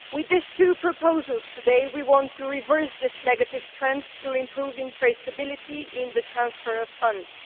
With these two proposals today, we want to reverse this negative trend through improving traceability in the transfer of funds.